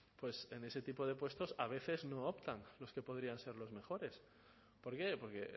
en ese tipo de puestos a veces no optan los que podrían ser los mejores por qué porque